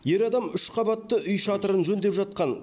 ер адам үш қабатты үй шатырын жөндеп жатқан